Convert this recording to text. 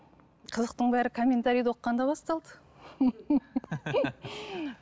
қызықтың бәрі комментариді оқығанда басталды